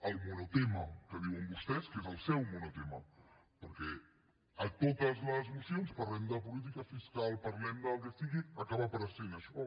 el monotema que diuen vostès que és el seu monotema perquè en totes les mocions parlem de política fiscal parlem del que sigui acaba apareixent això